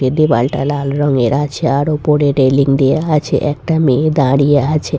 এ দেওয়ালটা লাল রঙের আছে আর ওপরে রেলিং দেওয়া আছে একটা মেয়ে দাঁড়িয়ে আছে।